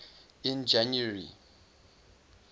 in january